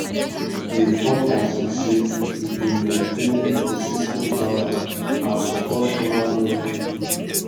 di importance be say e dey maintain ecosystem balance and support human wellbeing